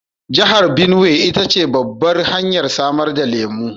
Jihar Benuwai ita ce babbar hanyar samar da lemu